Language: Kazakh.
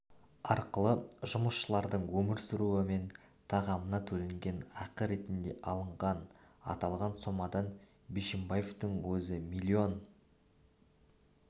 арқылы жұмысшылардың өмір сүруі мен тамағына төленген ақы ретінде алынған аталған сомадан бишімбаевтың өзі млн